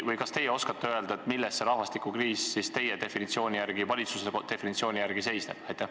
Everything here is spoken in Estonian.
Või kas teie oskate öelda, milles see rahvastikukriis teie või valitsuse definitsiooni järgi seisneb?